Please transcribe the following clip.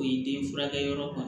O ye den furakɛ yɔrɔ